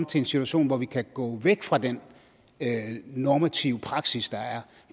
til den situation hvor vi kan gå væk fra den normative praksis der er